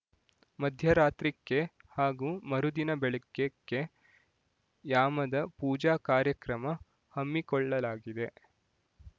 ಮಧ್ಯರಾತ್ರಿ ಕ್ಕೆ ಹಾಗೂ ಮರುದಿನ ಬೆಳಿಗ್ಗೆ ಕ್ಕೆ ಯಾಮದ ಪೂಜಾ ಕಾರ್ಯಕ್ರಮ ಹಮ್ಮಿಕೊಳ್ಳಲಾಗಿದೆ